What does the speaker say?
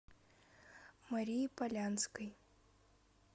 марии полянской